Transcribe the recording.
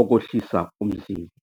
okwehlisa umzimba.